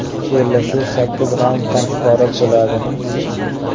Bellashuv sakkiz raunddan iborat bo‘ladi.